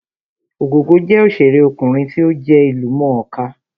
Ògògó jẹ́ òṣèré ọkùnrin tí ó jẹ́ ìlú mọ̀ọ́ kà